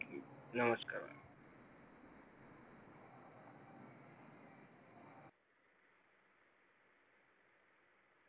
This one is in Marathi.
नमस्कार!